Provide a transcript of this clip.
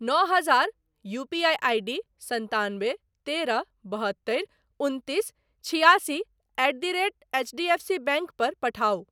नओ हजार UPI ID सन्तानबे तेरह बहत्तरि उनतीस छिआसी एट द रेट एचडीएफसीबैंक पर पठाउ।